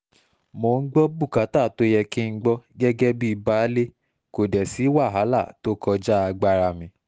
mò ń gbọ́ bùkátà tó yẹ kí n gbọ́ gẹ́gẹ́ bíi baálé kó dé sí wàhálà tó kọjá agbára mi